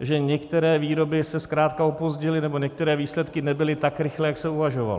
že některé výroby se zkrátka opozdily, nebo některé výsledky nebyly tak rychlé, jak se uvažovalo.